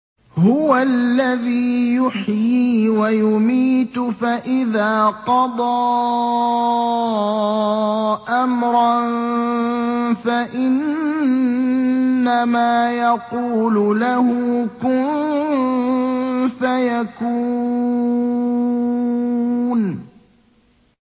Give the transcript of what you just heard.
هُوَ الَّذِي يُحْيِي وَيُمِيتُ ۖ فَإِذَا قَضَىٰ أَمْرًا فَإِنَّمَا يَقُولُ لَهُ كُن فَيَكُونُ